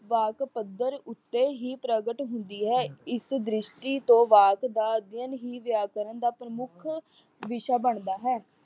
ਵਾਕ ਪੱਧਰ ਉੱਤੇ ਹੀ ਪ੍ਰਗਟ ਹੁੰਦੀ ਹੈ। ਇਸ ਦਰਿਸ਼ਟੀ ਤੋਂ ਵਾਕ ਦਾ ਅਧਿਐਨ ਹੀ ਵਿਆਕਰਨ ਦਾ ਪ੍ਰਮੁੱਖ ਵਿਸ਼ਾ ਬਣਦਾ ਹੈ।